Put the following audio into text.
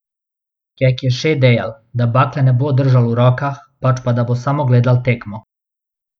Kek je še dejal, da bakle ne bo držal v rokah, pač pa da bo samo gledal tekmo.